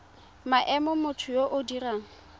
maemo motho yo o dirang